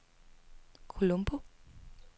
Colombo